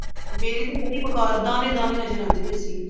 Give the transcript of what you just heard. ਮੇਰੀ ਤੇ ਬੜੀ ਬੇਕਾਰ ਦਾਣੇ ਦਾਣੇ ਨਜ਼ਰ ਆਉਂਦੇ ਪਏ ਸੀ